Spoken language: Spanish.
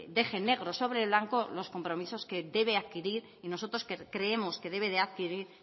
deje negro sobre blanco los compromisos que debe adquirir y nosotros creemos que debe de adquirir